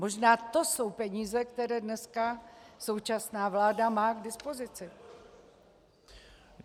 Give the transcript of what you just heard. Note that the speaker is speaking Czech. Možná to jsou peníze, které dneska současná vláda má k dispozici?